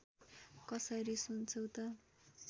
कसरी सुन्छौ त